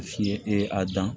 e dan